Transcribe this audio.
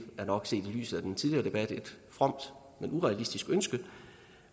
er nok set i lyset af den tidligere debat et fromt men urealistisk ønske